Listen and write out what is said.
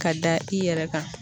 Ka da i yɛrɛ kan.